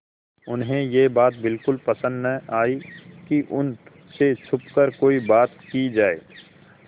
उन्हें यह बात बिल्कुल पसन्द न आई कि उन से छुपकर कोई बात की जाए